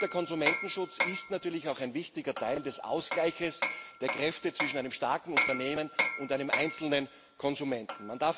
Der Konsumentenschutz ist natürlich auch ein wichtiger Teil des Ausgleichs der Kräfte zwischen einem starken Unternehmen und einem einzelnen Konsumenten.